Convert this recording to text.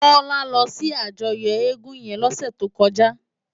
Tola lò si àjòyò égùn yèn lòsè tókòjá